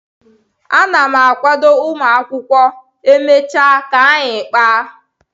Ana m akwado ụmụaka akwụkwọ, e mechaa ka anyị kpaaga